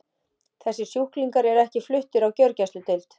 Þessir sjúklingar eru ekki fluttir á gjörgæsludeild.